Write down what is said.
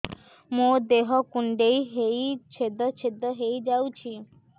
ମୋ ଦେହ କୁଣ୍ଡେଇ ହେଇ ଛେଦ ଛେଦ ହେଇ ଯାଉଛି